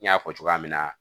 N y'a fɔ cogoya min na